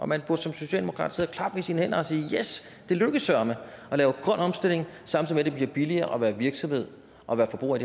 man burde som socialdemokrat sidde og klappe i sine hænder og sige yes det lykkes søreme at lave grøn omstilling samtidig med at det bliver billigere at være virksomhed og være forbruger i